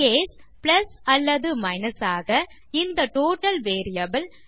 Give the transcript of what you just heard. case plus அல்லது minus ஆக இந்த டோட்டல் வேரியபிள்